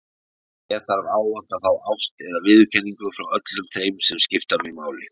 Ég þarf ávallt að fá ást eða viðurkenningu frá öllum þeim sem skipta mig máli.